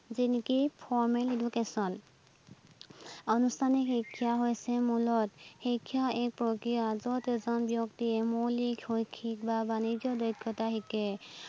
যেনেকে formal education আনুষ্ঠানিক শিক্ষা হৈ্ছে মূলতঃ শিক্ষাৰ এক প্ৰক্ৰিয়া যত এজন ব্যক্তিয়ে মৌলিক, শৈক্ষিক বা বানিজ্য কথা শিকে